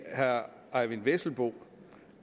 herre eyvind vesselbo